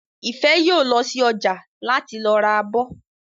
Ìfẹ́ yóò lọ sí ọjà láti lọ ra abọ́